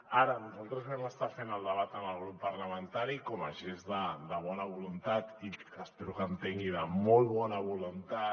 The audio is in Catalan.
ara nosaltres vam estar fent el debat amb el grup parlamentari com a gest de bona voluntat i espero que entengui de molt bona voluntat